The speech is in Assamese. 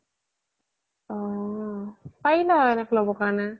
অ পাৰিলা হয় এনেকে ল্'ব কাৰনে